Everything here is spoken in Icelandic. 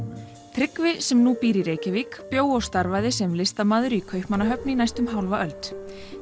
Tryggvi sem nú býr í Reykjavík bjó og starfaði sem listamaður í Kaupmannahöfn í næstum hálfa öld